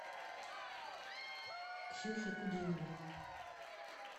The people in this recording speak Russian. ксюхе кудиновой